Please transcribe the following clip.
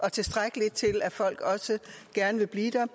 og tilstrækkeligt til at folk også gerne vil blive der